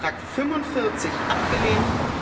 Änderungsantrag 45 abgelehnt